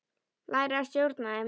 Læra að stjórna þeim.